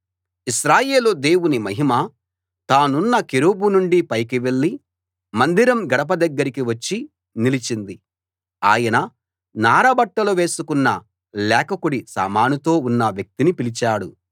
ఇశ్రాయేలు దేవుని మహిమ తానున్న కెరూబు నుండి పైకి వెళ్ళి మందిరం గడప దగ్గరికి వచ్చి నిలిచింది ఆయన నార బట్టలు వేసుకున్న లేఖకుడి సామానుతో ఉన్న వ్యక్తిని పిలిచాడు